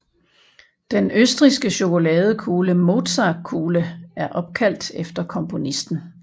Den østrigske chokoladekugle Mozartkugle er opkaldt efter komponisten